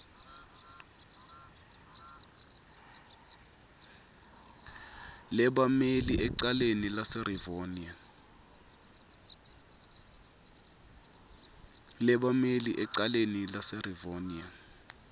lebammeli ecaleni laserivonia